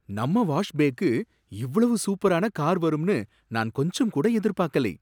நம்ம வாஷ் பேக்கு இவ்வளவு சூப்பரான கார் வரும்னு நான் கொஞ்சம் கூட எதிர்பாக்கலை.